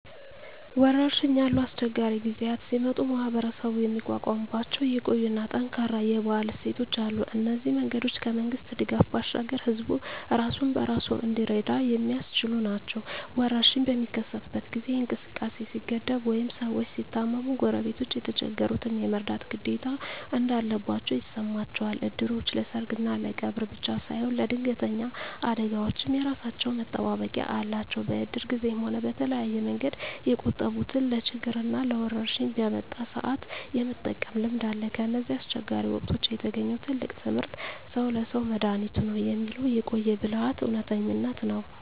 ወረርሽኝ ያሉ አስቸጋሪ ጊዜያት ሲመጡ ማኅበረሰቡ የሚቋቋምባቸው የቆዩና ጠንካራ የባህል እሴቶች አሉ። እነዚህ መንገዶች ከመንግሥት ድጋፍ ባሻገር ሕዝቡ ራሱን በራሱ እንዲረዳ የሚያስችሉ ናቸው። ወረርሽኝ በሚከሰትበት ጊዜ እንቅስቃሴ ሲገደብ ወይም ሰዎች ሲታመሙ፣ ጎረቤቶች የተቸገሩትን የመርዳት ግዴታ እንዳለባቸው ይሰማቸዋል። እድሮች ለሰርግና ለቀብር ብቻ ሳይሆን ለድንገተኛ አደጋዎችም የራሳቸው መጠባበቂያ አላቸው። በእድር ጊዜም ሆነ በተለያየ መንገድ የቆጠቡትን ለችግርና ለወረርሽኝ በመጣ ሰአት የመጠቀም ልምድ አለ። ከእነዚህ አስቸጋሪ ወቅቶች የተገኘው ትልቁ ትምህርት "ሰው ለሰው መድኃኒቱ ነው" የሚለው የቆየ ብልሃት እውነተኝነት ነው።